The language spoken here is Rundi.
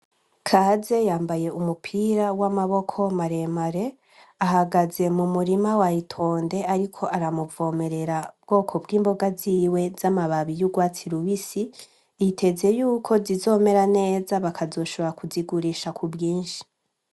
Kaze yambaye umupira w'amaboko maremare ahagaze mu murima wayitonde, ariko aramuvomerera ubwoko bw'imboga ziwe z'amababi y'urwatsi luisi iteze yuko zizomera neza bakazoshobora kuzigurisha ku bwinshi.